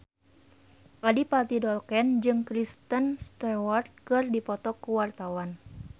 Adipati Dolken jeung Kristen Stewart keur dipoto ku wartawan